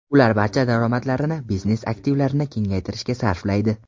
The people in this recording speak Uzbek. Ular barcha daromadlarini biznes aktivlarini kengaytirishga sarflaydi.